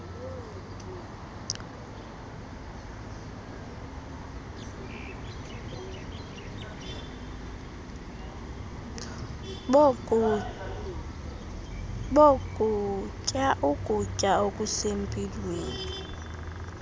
bokuba ukutya okusempilweni